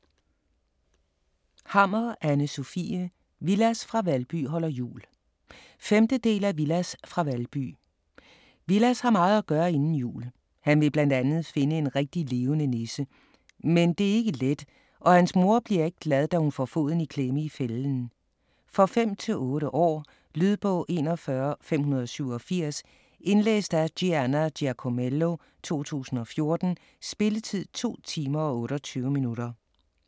Hammer, Anne Sofie: Villads fra Valby holder jul 5. del af Villads fra Valby. Villads har meget at gøre inden jul. Han vil bl.a. finde en rigtig levende nisse. Men det er ikke let og hans mor bliver ikke glad, da hun får foden i klemme i fælden. For 5-8 år. Lydbog 41587 Indlæst af Gianna Giacomello, 2014. Spilletid: 2 timer, 28 minutter.